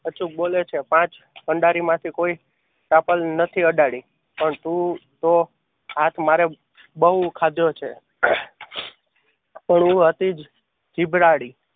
અચૂક બોલે છે. પાંચ પંડારી માંથી કોઈ સાંપડ નથી અડાડી પણ તું તો પણ હું હતી જ જીભડાડી.